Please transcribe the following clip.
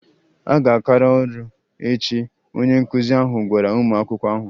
A ga-akara ọrụ a echi, onye nkụzi ahụ gwara ụmụ akwụkwọ ahụ